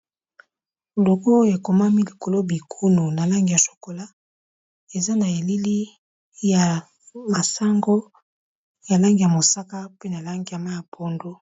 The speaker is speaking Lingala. Logo oyo ekomami likolo bikunu na langi ya chokolat, eza na elili ya masango ya langi ya mosaka, pe na langi ya mayi ya pondu.